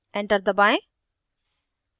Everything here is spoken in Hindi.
enter दबाएं